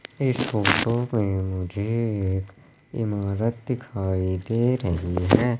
इस फोटो में मुझे एक इमारत दिखाई दे रही है।